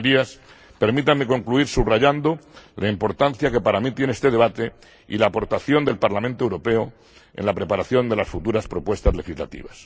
Señorías, permítanme concluir subrayando la importancia que para mí tiene este debate y la aportación del Parlamento Europeo en la preparación de las futuras propuestas legislativas.